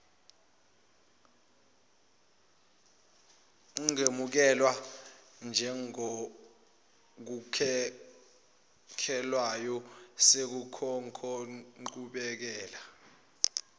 ungemukelwa njengokhokhelwayo sekunenqubekela